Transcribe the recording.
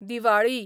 Diwali